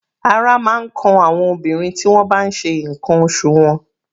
Ara máa ń kan àwọn obìnrin tí wọ́n bá n ṣe ǹkan oṣù wọn.